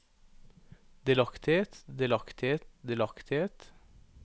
delaktighet delaktighet delaktighet